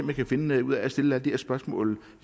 jeg kan finde ud af at stille alle de her spørgsmål